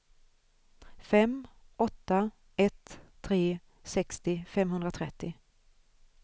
fem åtta ett tre sextio femhundratrettio